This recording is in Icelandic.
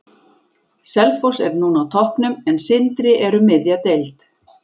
Selfoss er núna á toppnum, en Sindri er um miðja deild.